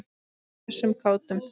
Hressum og kátum.